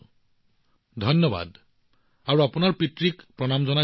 অভিজিতজীক ধন্যবাদ আৰু আপোনাৰ পিতৃক আমাৰ শ্ৰদ্ধা জনাব